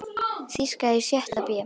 Þýska í sjötta bé.